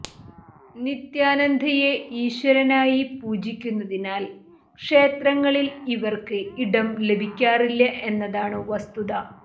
നിത്യാനന്ദയെ ഈശ്വരനായി പൂജിക്കുന്നതിനാൽ ക്ഷേത്രങ്ങളിൽ ഇവർക്ക് ഇടം ലഭിക്കാറില്ല എന്നതാണ് വസ്തുത